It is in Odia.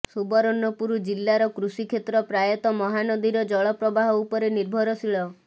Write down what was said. ସୁବର୍ଣ୍ଣପୁର ଜିଲ୍ଲାର କୃଷି କ୍ଷେତ୍ର ପ୍ରାୟତଃ ମହାନଦୀର ଜଳ ପ୍ରବାହ ଉପରେ ନିର୍ଭରଶୀଳ